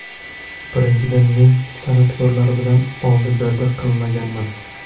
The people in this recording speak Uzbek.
Birinchidan, men san’atkorlar bilan oldi-berdi qilmaganman.